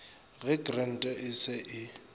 ge krante e se e